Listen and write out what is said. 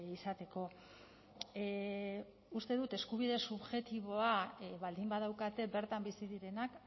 izateko uste dut eskubide subjektiboa baldin badaukate bertan bizi direnak